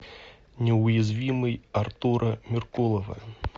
неуязвимый артура меркулова